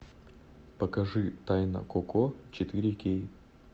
покажи тайна коко четыре кей